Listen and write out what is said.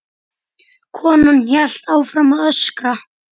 Konan hélt áfram að öskra.